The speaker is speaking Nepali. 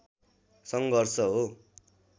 सङ्घर्ष हो